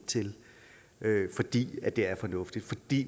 til fordi det er fornuftigt fordi